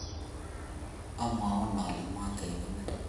omwoun ale mwotobenin